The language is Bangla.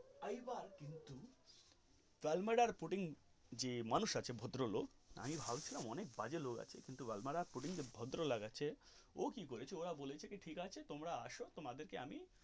এই বার কিন্তু ভালদামির পুতিন যে মানুষ আছে ভদ্রলোক আমি ভাবছিলাম অনেক বাজে লোক আছে কিন্তু ভালদামির পুতিন ভদ্রলোক আছে ও কি করেছে ওরা বলছে ঠিক আছে তোমরা আসো তোমাদের কে আমি.